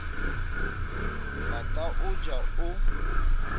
ba ka o ja o